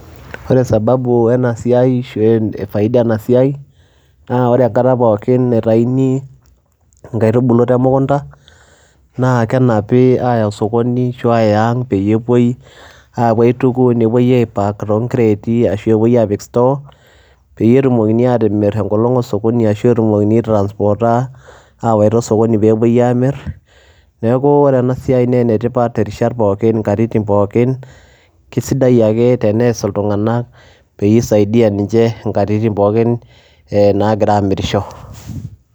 Ore sababu ena siai ashu faida ena siai naa ore enkata pookin naitayuni nkaitubulu te mukunda naa kenapi aaya osokoni ashu aaya aang' peyie apuo aitoku nepuoi apuo aipack too nkireeti ashu pee epuoi aapik store, peyie etumokini aatimir enkolong' osokoni ashu etumokini aitransporta awaita osokoni peepuoi aamir. Neeku ore ena siai naa ene tipat irishat pookin nkatitin pookin, kesidai ake tenees iltung'anak peyie isaidia ninche nkatitin pookin naagira aamirisho.